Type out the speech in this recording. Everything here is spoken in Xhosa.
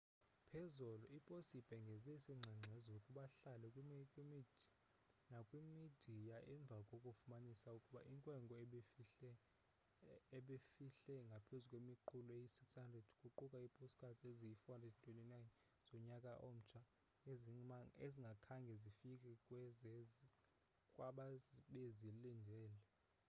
phezolo iposi ibhengeze isingxengxezo kubahlali nakwimidiya emva kokufumanisa ukuba inkwenkwe ebifihle ngaphezu kwemiqulu eyi 600 kuquka iipostcards eziyi 429 zonyaka omtsha ezingakhange zifike kwabebezilindele